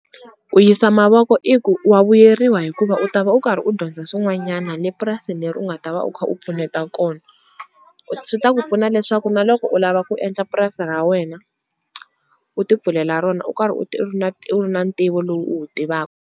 Ku yisa mavoko i ku wa vuyeriwa hikuva u ta va u karhi u dyondza swin'wanyana le purasini leri u nga ta va u kha u pfuneta kona, swi ta ku pfuna leswaku na loko u lava ku endla purasi ra wena u tipfulela rona u karhi u ri u ri na ntivo lowu u wu tivaku.